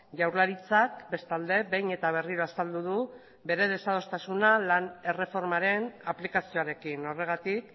jaurlaritzak bestalde behin eta berriro azaldu du bere desadostasuna lan erreformaren aplikazioarekin horregatik